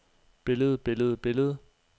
billede billede billede